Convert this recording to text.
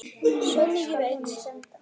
Svo mikið veit